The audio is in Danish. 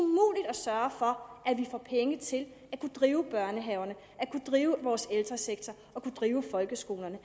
sørge for at vi får penge til at kunne drive børnehaverne kunne drive vores ældresektor og kunne drive folkeskolerne